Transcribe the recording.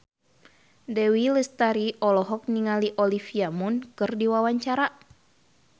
Dewi Lestari olohok ningali Olivia Munn keur diwawancara